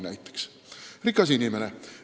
Ta on rikas inimene.